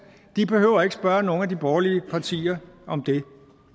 de behøver ikke at spørge nogen af de borgerlige partier om det